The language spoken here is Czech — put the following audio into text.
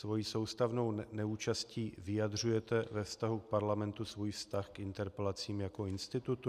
Svou soustavnou neúčastí vyjadřujete ve vztahu k Parlamentu svůj vztah k interpelacím jako institutu?